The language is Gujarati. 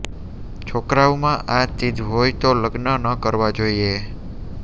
છોકરાવમાં આ ચીજ હોય તો લગ્ન ન કરવા જોઇએ